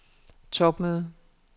topmøde